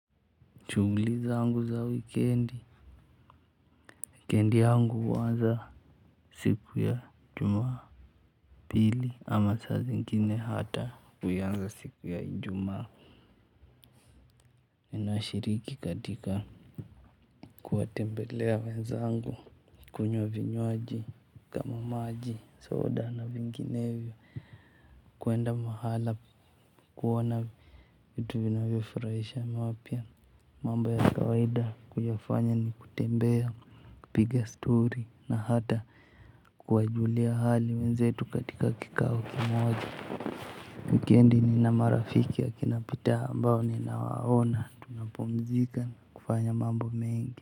Shughuli zangu za wikendi wikendi yangu huanza siku ya Jumapili ama saa zingine hata huianza siku ya Ijumaa. Ninashariki katika kuwatembelea wenzangu, kunywa vinywaji, kama maji, soda na vinginevyo. Kuenda mahala kuona vitu vinavyofurahisha mapya. Mambo ya kawaida kuyafanya ni kutembea. Kupiga stori na hata kuwajulia hali wenzetu katika kikao kimoja. Wikendi nina marafiki akina Peter ambao ninawaona tunapumzika kufanya mambo mengi.